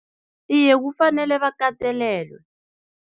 Iye, kufanele bakatelelwe.